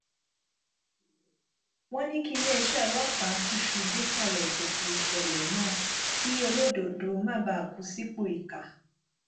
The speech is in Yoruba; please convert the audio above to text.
wọn ní kíléeṣẹ ọlọpàá túṣu désàlẹ ìkòkò ìṣẹlẹ náà kí olódodo má bàa kú sípò ìkà